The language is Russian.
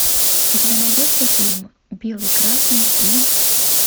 у тебя найдется фильм белый красный и